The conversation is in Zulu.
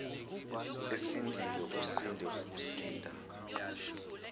esindile usinde ukusinda